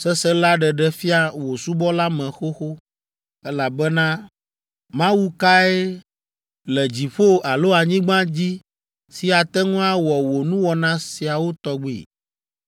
sesẽ la ɖeɖe fia wò subɔla me xoxo, elabena Mawu kae le dziƒo alo anyigba dzi si ate ŋu awɔ wò nuwɔna siawo tɔgbi?